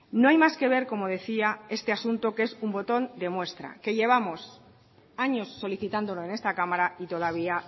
no hay más que ver como decía este asunto que es un botón de muestra que llevamos años solicitándolo en esta cámara y todavía